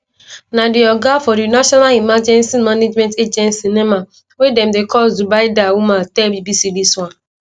na di oga of di national emergency management agency nema wey dem dey call zubaida umar tell bbc dis one